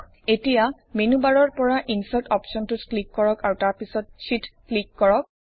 এতিয়া মেনুবাৰৰ পৰা ইনচাৰ্ট অপশ্বনটোত ক্লিক কৰক আৰু তাৰ পিছত শ্বিট ক্লিক কৰক